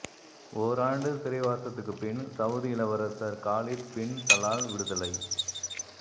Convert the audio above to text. ஓராண்டு சிறைவாசத்துக்கு பின் சவுதி இளவரசர் காலித் பின் தலால் விடுதலை